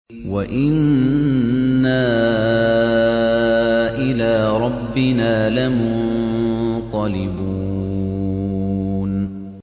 وَإِنَّا إِلَىٰ رَبِّنَا لَمُنقَلِبُونَ